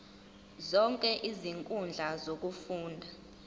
zonke izinkundla zokufunda